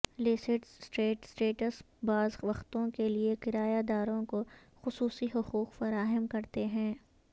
لیسیڈ estate estates بعض وقتوں کے لئے کرایہ داروں کو خصوصی حقوق فراہم کرتے ہیں